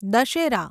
Dussehra